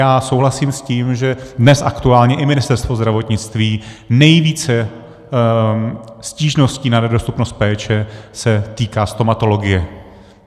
Já souhlasím s tím, že dnes aktuálně i Ministerstvo zdravotnictví, nejvíce stížností na nedostupnost péče se týká stomatologie.